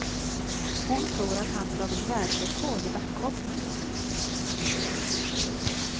Hon tror att han slagit världsrekord i backhoppning.